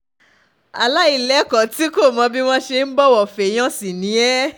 aláìlẹ́kọ̀ọ́ tí kò mọ bí wọ́n ṣe ń bọ̀wọ̀ féèyàn sí ni ẹ́